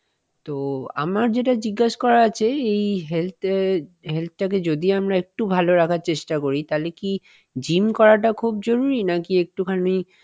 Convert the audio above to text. তো আমার যেটা জিজ্ঞেস করার আছে এই health এর health টাকে যদি আমরা একটু ভালো রাখার চেষ্টা করি তাহলে কি gym করাটা খুব জরুরি নাকি একটুখানি